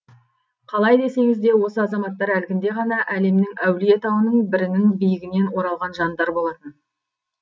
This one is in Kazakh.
қалай десеңіз де осы азаматтар әлгінде ғана әлемнің әулие тауының бірінің биігінен оралған жандар болатын